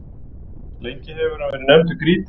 lengi hefur hann verið nefndur grýta